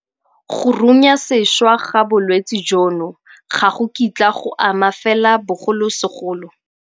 Go runyasešwa ga bolwetse jono ga go kitla go ama fela bogolosegolo.